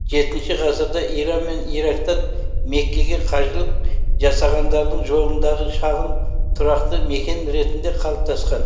жетінші ғасырда иран мен ирактан меккеге қажылық жасағандардың жолындағы шағын тұрақты мекен ретінде қалыптасқан